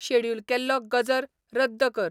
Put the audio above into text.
schedule केल्लो गजर रद्द कर